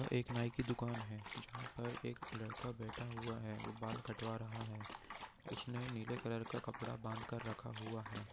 यहाँ एक नाइ की दूकान है जहाँ पर एक लड़का बैठा हुआ है वह बाल कटवा रहा है उसने नीले रंग का का कपडा बाँध कर रखा हुआ हैं।